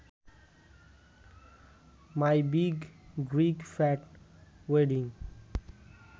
my big Greek fat wedding